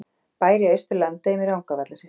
Bær í Austur-Landeyjum í Rangárvallasýslu.